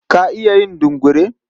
Ka iya yin dungure?